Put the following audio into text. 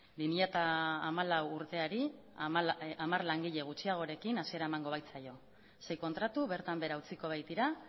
bi mila hamalau urteari hamar langile gutxiagorekin hasiera emango baitzaio sei kontratu bertan behera utziko baitira